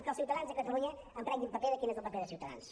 que els ciutadans de catalunya en prenguin nota de quin és el paper de ciutadans